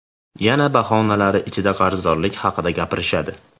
Yana bahonalari ichida qarzdorlik haqida gapirishadi.